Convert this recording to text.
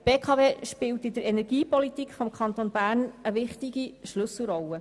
Die BKW spielt in der Energiepolitik des Kantons Bern eine wichtige Schlüsselrolle.